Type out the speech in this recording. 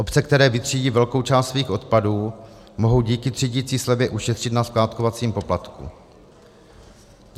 Obce, které vytřídí velkou část svých odpadů, mohou díky třídicí slevě ušetřit na skládkovacím poplatku.